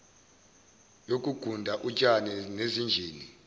yokuguda utshani nezinjini